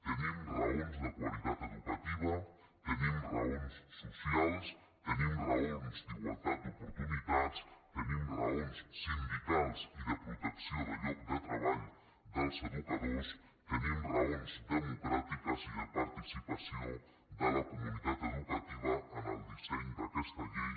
tenim raons de qualitat educativa tenim raons socials tenim raons d’igualtat d’oportunitats tenim raons sindicals i de protecció del lloc de treball dels educadors tenim raons democràtiques i de participació de la comunitat educativa en el disseny d’aquesta llei